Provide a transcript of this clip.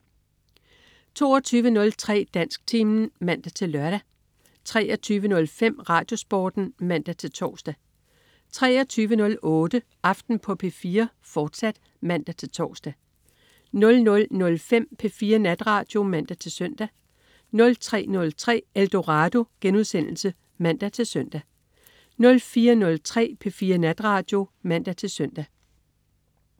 22.03 Dansktimen (man-lør) 23.05 RadioSporten (man-tors) 23.08 Aften på P4, fortsat (man-tors) 00.05 P4 Natradio (man-søn) 03.03 Eldorado* (man-søn) 04.03 P4 Natradio (man-søn)